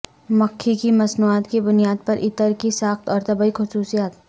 مکھی کی مصنوعات کی بنیاد پر عطر کی ساخت اور طبی خصوصیات